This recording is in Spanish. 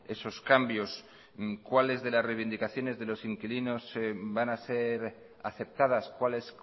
esos cambios cuáles de las reivindicaciones de los inquilinos van a ser aceptadas cuáles